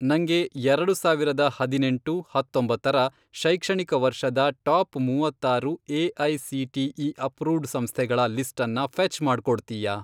ನಂಗೆ ಎರಡು ಸಾವಿರದ ಹದಿನೆಂಟು, ಹತ್ತೊಂಬತ್ತರ, ಶೈಕ್ಷಣಿಕ ವರ್ಷದ ಟಾಪ್ ಮೂವತ್ತಾರು ಎ.ಐ.ಸಿ.ಟಿ.ಇ. ಅಪ್ರೂವ್ಡ್ ಸಂಸ್ಥೆಗಳ ಲಿಸ್ಟನ್ನ ಫ಼ೆಚ್ ಮಾಡ್ಕೊಡ್ತಿಯಾ?